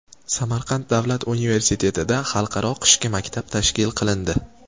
Samarqand davlat universitetida Xalqaro qishki maktab tashkil qilindi.